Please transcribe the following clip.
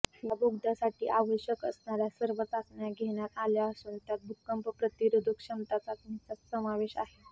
या बोगद्यासाठी आवश्यक असणाऱ्या सर्व चाचण्या घेण्यात आल्या असून त्यात भूकंपप्रतिरोधक क्षमता चाचणीचा समावेश आहे